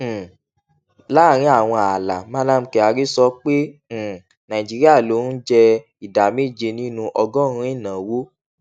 um láàárín àwọn ààlà mallam kyari sọ pé um nàìjíríà ló ń jẹ ìdá méje nínú ọgọrùnún ìnáwó